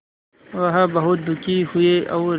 वह बहुत दुखी हुए और